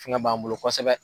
Fɛngɛ b'an bolo kosɛbɛ.